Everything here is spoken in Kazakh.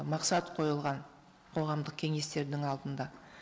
мақсат қойылған қоғамдық кеңестердің алдында